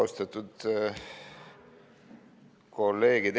Austatud kolleegid!